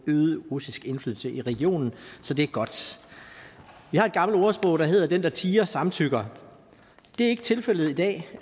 øget russisk indflydelse i regionen så det er godt vi har et gammelt ordsprog der hedder at den der tier samtykker det er ikke tilfældet i dag